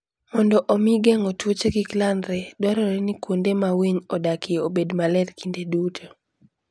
Mondo omi geng'o tuoche kik landre, dwarore ni kuonde ma winy odakie obed maler kinde duto.